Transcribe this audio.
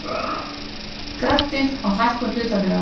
Græddi á hækkun hlutabréfa